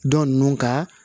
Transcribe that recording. Dɔ ninnu ka